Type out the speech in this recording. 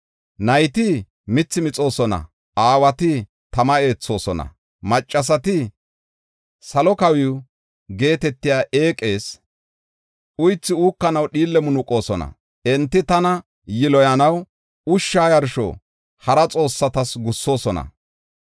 Nayti mithi mixoosona; aawati tama eethoosona; maccasati, ‘Salo Kawiw’ geetetiya eeqees uythi uukanaw dhiille munuqoosona. Enti tana yiloyanaw ushsha yarsho hara xoossatas gussoosona.